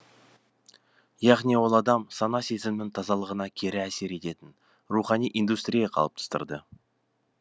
яғни ол адам сана сезімінің тазалығына кері әсер етеді рухани индустрия қалыптастырды